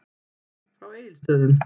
Frá Egilsstöðum.